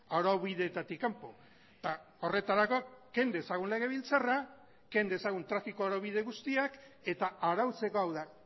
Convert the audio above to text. araubideetatik kanpo eta horretarako ken dezagun legebiltzarra ken dezagun trafiko araubide guztiak eta arautzeko hau da